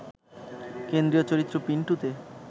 কেন্দ্রীয় চরিত্র ‘পিন্টু ’তে